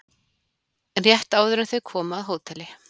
Rétt áður en þau koma að hóteli